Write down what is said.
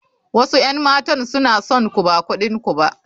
Wasu 'yan matan suna son ku ba kudin ku ba.